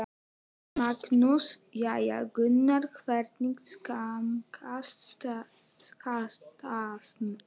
Magnús: Jæja Gunnar, hvernig smakkast skatan?